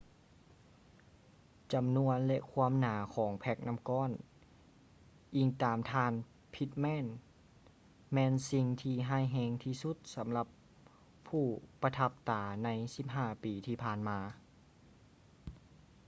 ຈຳນວນ ແລະ ຄວາມໜາຂອງແພ້ກນ້ຳກ້ອນ ອິງຕາມທ່ານ pittman ແມ່ນສິ່ງທີ່ຮ້າຍແຮງທີ່ສຸດສຳລັບຜູ້ປະທັບຕາໃນ 15 ປີທີ່ຜ່ານມາ